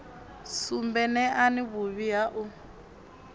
sumbe neani vhuvhi ha u